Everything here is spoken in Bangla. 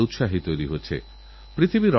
আলিগড়ের কিছু ছাত্র আমার কাছেএসেছিলেন